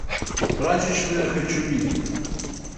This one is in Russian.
прачечная хочу видеть